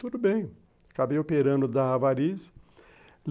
Tudo bem, acabei operando da varize.